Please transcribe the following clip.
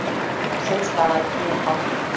Sums staðar mjög hált